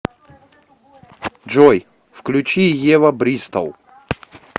джой включи ева бристол